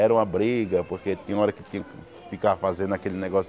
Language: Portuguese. Era uma briga, porque tem hora que fi ficava fazendo aquele negócio